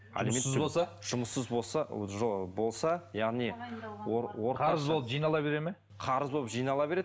жұмыссыз болса жұмыссыз болса болса яғни қарыз болып жинала береді ме қарыз болып жинала береді